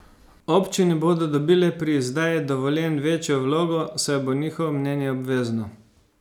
Občine bodo dobile pri izdaji dovoljenj večjo vlogo, saj bo njihovo mnenje obvezno.